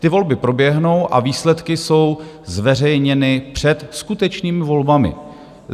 Ty volby proběhnou a výsledky jsou zveřejněny před skutečnými volbami.